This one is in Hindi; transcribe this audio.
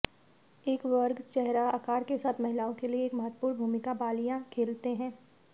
एक वर्ग चेहरा आकार के साथ महिलाओं के लिए एक महत्वपूर्ण भूमिका बालियां खेलते हैं